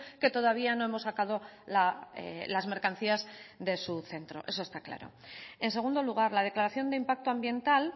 que todavía no hemos sacado las mercancías de su centro eso está claro en segundo lugar la declaración de impacto ambiental